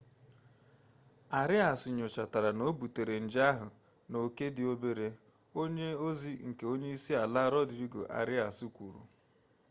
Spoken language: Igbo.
arias nyochatara na o butere nje ahụ n'oke dị obere onye ozi nke onye isi ala rodrigo arias kwuru